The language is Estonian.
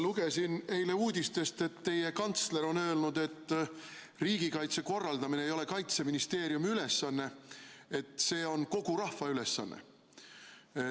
Lugesin eile uudistest, et teie kantsler on öelnud, et riigikaitse korraldamine ei ole Kaitseministeeriumi ülesanne, see on kogu rahva ülesanne.